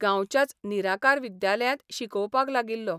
गांवच्याच निराकार विद्यालयांत शिकोवपाक लागिल्लो.